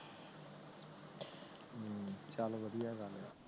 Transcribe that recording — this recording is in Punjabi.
ਚਲ ਵਧਿਆ ਗੱਲ ਆ